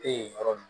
E ye yɔrɔ min